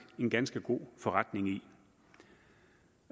en ganske god forretning i